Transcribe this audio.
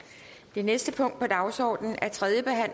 hvis